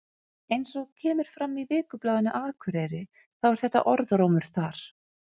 Eins og kemur fram í Vikublaðinu Akureyri þá er þetta orðrómur þar.